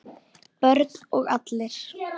Börn og allir?